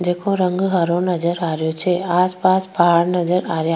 जेको रंग हरो नजर आ रो छ आस पास पहाड़ नजर आरा।